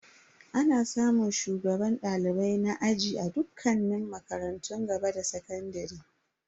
Ana samun shugaban dalibai na aji a dukkanin makarantun gaba da sakandare.